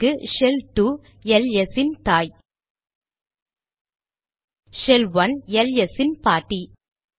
இங்கு shell 2 LS இன் தாய் ஷெல் 1 எல்எஸ் இன் பாட்டி